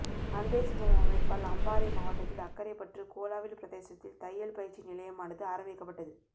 அன்பே சிவம் அமைப்பால் அம்பாறை மாவட்டத்தில் அக்கறைப்பற்று கோளாவில் பிரதேசத்தில் தையல் பயிற்சி நிலையமானது ஆரம்பிக்கப்பட்டது